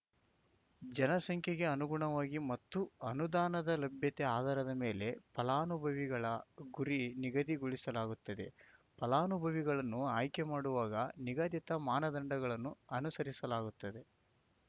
ಜನಸಂಖ್ಯೆಗೆ ಅನುಗುಣವಾಗಿ ಮತ್ತು ಅನುದಾನದ ಲಭ್ಯತೆ ಆಧಾರದ ಮೇಲೆ ಫಲಾನುಭವಿಗಳ ಗುರಿ ನಿಗದಿಗೊಳಿಸಲಾಗುತ್ತದೆ ಫಲಾನುಭವಿಗಳನ್ನು ಆಯ್ಕೆ ಮಾಡುವಾಗ ನಿಗದಿತ ಮಾನದಂಡಗಳನ್ನು ಅನುಸರಿಸಲಾಗುತ್ತದೆ